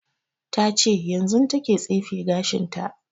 Ta ce yanzun ta ke tsefe gashin ta